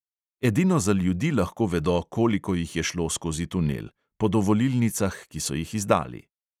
Edino za ljudi lahko vedo, koliko jih je šlo skozi tunel – po dovolilnicah, ki so jih izdali.